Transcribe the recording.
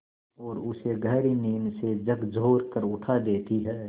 और उसे गहरी नींद से झकझोर कर उठा देती हैं